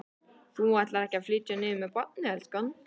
Þú ætlar ekki að flytja niður með barnið, elskan?